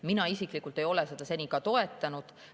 Mina isiklikult ei ole seda seni toetanud.